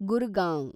Gurgaon